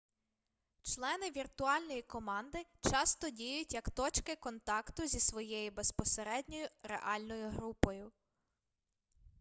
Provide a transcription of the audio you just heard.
члени віртуальної команди часто діють як точки контакту зі своєю безпосередньою реальною групою